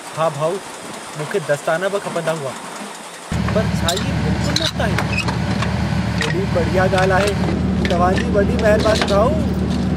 हा भाउ, मूंखे दस्ताना बि खपंदा हुआ। पर छा इहे बिल्कुलु मुफ़्तु आहिनि? केॾी बढ़िया ॻाल्हि आहे। तव्हां जी वॾी महिरबानी भाउ!